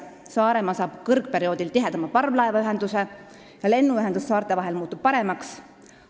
Saaremaa saab kõrgperioodil tihedama parvlaevaühenduse ja lennuühendus saarte vahel muutub paremaks.